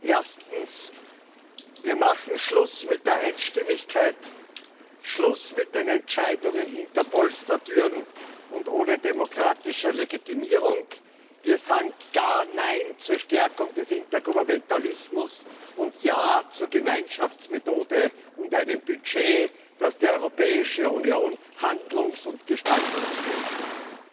Erstens Wir machen Schluss mit der Einstimmigkeit, Schluss mit den Entscheidungen hinter Polstertüren und ohne demokratische Legitimierung. Wir sagen klar Nein zur Stärkung des Intergouvernementalismus und Ja zur Gemeinschaftsmethode und einem Budget, das die Europäische Union handlungs und gestaltungsfähig macht.